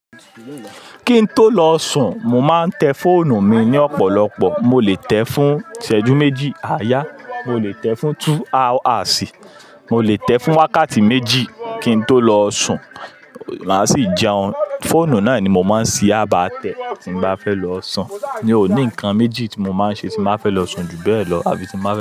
Kí n tó lọ sùn, mo máa ń tẹ fóònù mi ní ọ̀pọ̀lọpọ̀. Mo lè tẹ fún ìṣẹ́jú méjì, à yá, mo lè tẹ fún two hours, mo lè tẹ fún wákàtí méjì kí n tó lọ sùn. Máa sì jẹun. Fóònù náà ni mo máa ń ṣi àbà tẹ tí n bá fẹ́ lọ sùn. Mi òní nǹkan méjì tí mo máa ń ṣe tí mo bá fẹ́ lọ sùn jù bẹ́ẹ̀ lọ àbí tí mo bá fẹ́